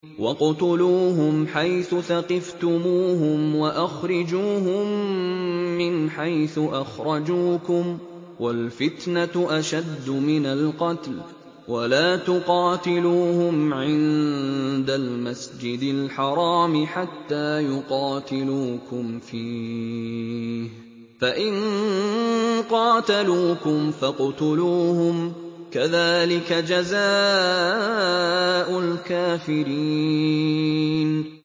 وَاقْتُلُوهُمْ حَيْثُ ثَقِفْتُمُوهُمْ وَأَخْرِجُوهُم مِّنْ حَيْثُ أَخْرَجُوكُمْ ۚ وَالْفِتْنَةُ أَشَدُّ مِنَ الْقَتْلِ ۚ وَلَا تُقَاتِلُوهُمْ عِندَ الْمَسْجِدِ الْحَرَامِ حَتَّىٰ يُقَاتِلُوكُمْ فِيهِ ۖ فَإِن قَاتَلُوكُمْ فَاقْتُلُوهُمْ ۗ كَذَٰلِكَ جَزَاءُ الْكَافِرِينَ